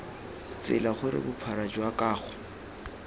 tsela gore bophara jwa kago